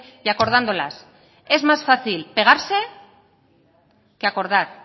y acordándolas es más fácil pegarse que acordar